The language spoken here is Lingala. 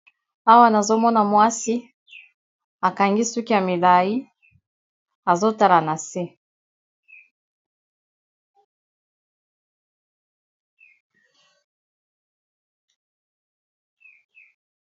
Awa nazomona mwasi akangi suki ya milai azotala na se.